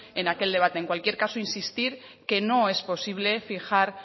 en aquel debate en cualquier caso insistir que no es posible fijar